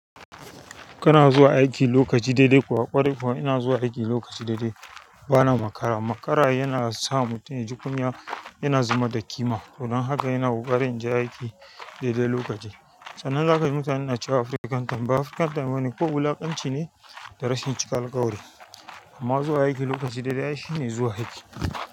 Kana zuwa aiki lokaci daidai kuwa? Ƙwarai kuwa, ina zuwa aiki lokaci daidai. Bana makara. Makara yana sa mutum ya ji kunya, yana zuban da ƙima. Don haka yana ƙoƙarin in je aiki daidai lokaci. Sannan zaka ga mutane na cewa african time ba African time ba ne, kawai wulaƙanci ne da rashin cika alkawari. Amma zuwa aiki lokaci daidai ai shi ne zuwa aiki.